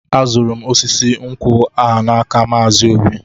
Azụrụ m osisi nkwụ a n'aka Maazi Obi.